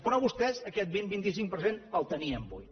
però vostès aquest vint vint cinc per cent el tenien buit